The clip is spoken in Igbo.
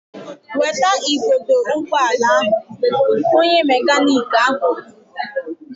Weta igodo ụgbọala ahụ! Onye mekaniiki ahụ kwuru